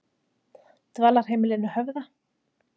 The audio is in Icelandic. Dvalarheimilinu Höfða